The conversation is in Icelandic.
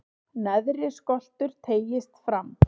neðri skoltur teygist fram